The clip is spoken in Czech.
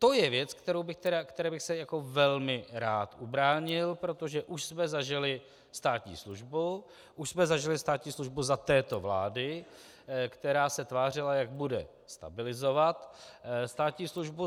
To je věc, které bych se velmi rád ubránil, protože už jsme zažili státní službu, už jsme zažili státní službu za této vlády, která se tvářila, jak bude stabilizovat státní službu.